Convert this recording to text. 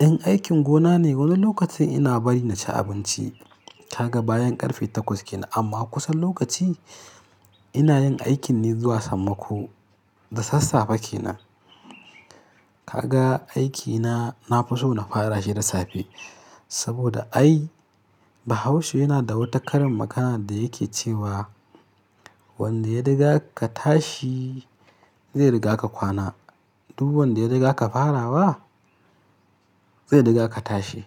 ɗan aikin gona ne. Wani lokaci ina bari na ci abinci ta gaba yan ƙarfe takwas kenan. Amma kusan lokaci ina yin aikin ne zuwa sammako da sassafe kenan. Kaga aikina na fi so na fara shi da safe saboda ai Bahaushe yana da wata karin magana da yake cewa wanda ya riga ka tashi zai riga ka kwana. Duk wanda ya riga ka fara wa zai riga ka tashi.